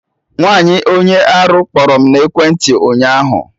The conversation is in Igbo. Nwaanyi onye arụ kpọrọ m n'ekwentị ụnyaahụ